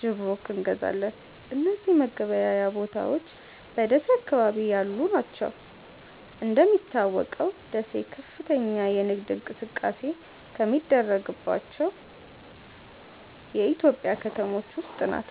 ጅብሩክ እንገዛለን። እነዚህ መገበያያ ቦታዎች በደሴ አካባቢ ያሉ ናቸው። እንደሚታወቀው ደሴ ከፍተኛ የንግድ እንቅስቃሴ ከሚደረግባቸው የኢትዮጵያ ከተሞች ውስጥ ናት።